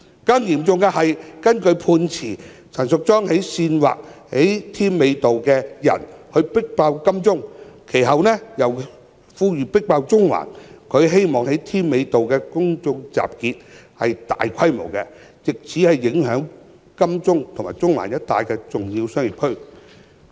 更嚴重的是，根據判詞，陳淑莊議員煽惑在添華道上的人"迫爆金鐘"，其後再呼籲人群"迫爆中環"，她希望在添華道的公眾集結是大規模的，藉此影響金鐘及中環一帶的重要商業區。